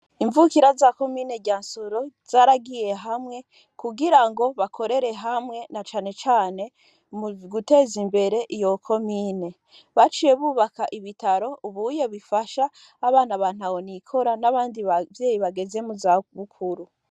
Imvukira zakomine rya nsoro zaragiye hamwe kugira ngo bakorere hamwe na canecane muguteza imbere iyoko mine baciye bubaka ibitaro ubuye bifasha abana bantawonikora n'abandi bavyeyi bageze mu zabukuru.